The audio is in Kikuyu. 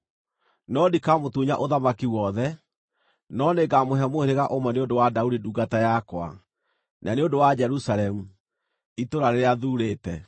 No ndikamũtunya ũthamaki wothe, no nĩngamũhe mũhĩrĩga ũmwe nĩ ũndũ wa Daudi ndungata yakwa, na nĩ ũndũ wa Jerusalemu, itũũra rĩrĩa thuurĩte.”